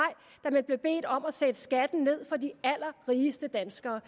da man blev bedt om at sætte skatten ned for de allerrigeste danskere